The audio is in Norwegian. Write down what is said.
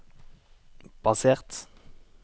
basert